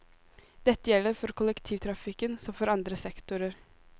Dette gjelder for kollektivtrafikken som for andre sektorer.